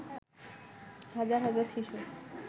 হাজার হাজার শিশু